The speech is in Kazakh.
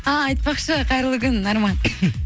а айтпақшы қайырлы күн арман